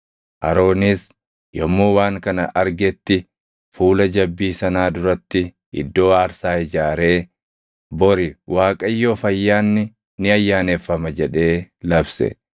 Aroonis yommuu waan kana argetti fuula jabbii sanaa duratti iddoo aarsaa ijaaree, “Bori Waaqayyoof ayyaanni ni ayyaaneffama” jedhee labse.